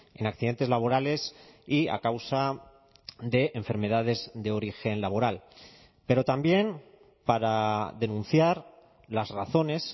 en accidentes laborales y a causa de enfermedades de origen laboral pero también para denunciar las razones